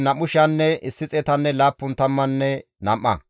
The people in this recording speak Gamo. Shafaaxiya zereththafe 372;